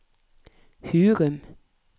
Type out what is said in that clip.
Hurum